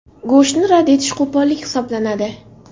Go‘shtni rad etish qo‘pollik hisoblanadi.